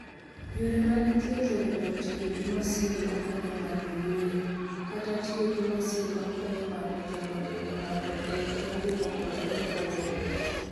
Yore mag thieth oriwo tiyo gi masin makonyo ng'ato yweyo, kata tiyo gi masin makonyo ng'ato chomo dend ng'ato e okenge mopogore opogore.